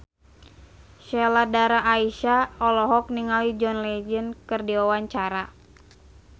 Sheila Dara Aisha olohok ningali John Legend keur diwawancara